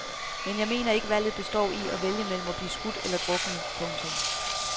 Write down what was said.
Men jeg mener ikke valget består i at vælge mellem at blive skudt eller druknet. punktum